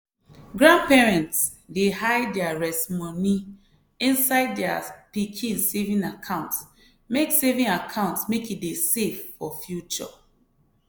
grandparents dey hide their rest money inside their pikin saving account make saving account make e dey safe for future.